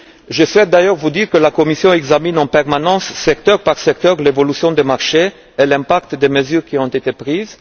Je souhaite d'ailleurs vous dire que la Commission examine en permanence, secteur par secteur, l'évolution des marchés et l'impact des mesures qui ont été prises.